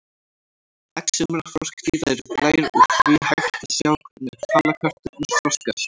Egg sumra froskdýra eru glær og því hægt að sjá hvernig halakörturnar þroskast.